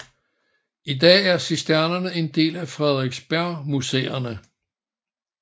I dag er Cisternerne en del af Frederiksbergmuseerne